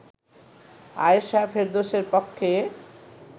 আয়েশা ফেরদৌসের পক্ষে